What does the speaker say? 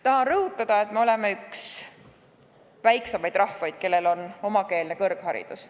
Tahan rõhutada, et me oleme üks väiksemaid rahvaid, kellel on omakeelne kõrgharidus.